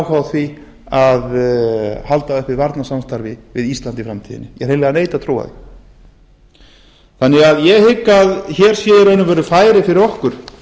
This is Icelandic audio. á að halda uppi varnarsamstarfi við ísland í framtíðinni ég hreinlega neita að trúa því því hygg ég að hér sé í rauninni færi fyrir okkur